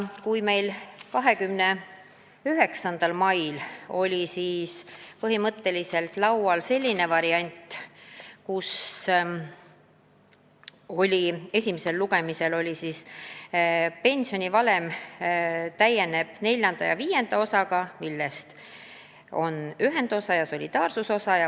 29. mail oli meil laual selline variant, et pensionivalem täieneb neljanda ja viienda osaga, mis on ühendosa ja solidaarsusosa.